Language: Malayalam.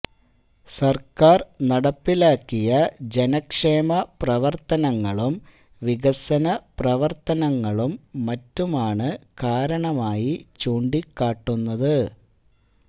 സര്ക്കാര് നടപ്പിലാക്കിയ ജനക്ഷേമ പ്രവര്ത്തനങ്ങളും വികസന പ്രവര്ത്തനങ്ങളും മറ്റുമാണ് കാരണമായി ചൂണ്ടിക്കാട്ടുന്നത്